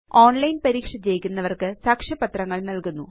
online പരീക്ഷ ജയിക്കുന്നവര്ക്ക് സാക്ഷ്യപത്രങ്ങള് നല്കുന്നു